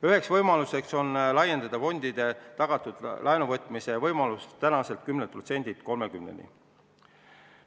Üks võimalus on laiendada fondide tagatud laenuvõtmise võimalust seniselt 10%-lt 30%-ni vara väärtusest.